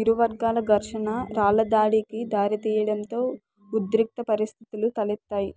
ఇరు వర్గాల ఘర్షణ రాళ్లదాడికి దారితీయడంతో ఉద్రిక్త పరిస్థితులు తలెత్తాయి